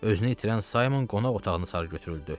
Özünü itirən Saymon qonaq otağını sarı götürüldü.